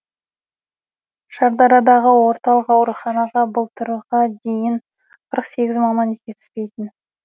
шардарадағы орталық ауруханаға былтырға дейін қырық сегіз маман жетіспейтін